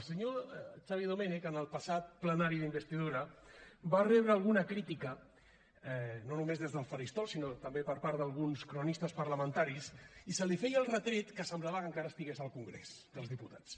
el senyor xavier domènech en el passat plenari d’investidura va rebre alguna crítica no només des del faristol sinó també per part d’alguns cronistes parlamentaris i se li feia el retret que semblava que encara estigués al congrés dels diputats